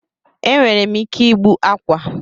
Enwerem ike igbu akwa